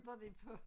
Var de på